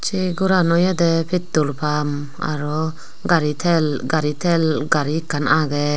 se gharan oyede petrol pump aro gari tel gari tel gari ikkan aagey.